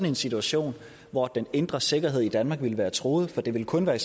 en situation hvor den indre sikkerhed i danmark var truet for det ville kun være i